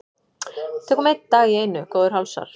Tökum einn dag í einu góðir hálsar.